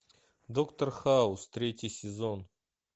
доктор хаус третий сезон